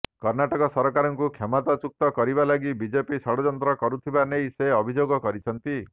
କର୍ଣ୍ଣାଟକ ସରକାରକୁ କ୍ଷମତାଚ୍ୟୁତ୍ କରିବା ଲାଗି ବିଜେପି ଷଡ଼ଯନ୍ତ୍ର କରୁଥିବା ନେଇ ସେ ଅଭିଯୋଗ କରିଛନ୍ତି